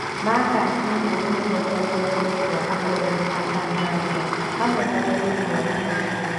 Marcus nĩ mũũgĩ mũno kwaria rũthiomi rwa akoroni a Tanzania, hamwe na rũthiomi rwa Gikũyũ.